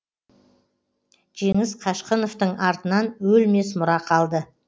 жеңіс қашқыновтың артынан өлмес мұра қалды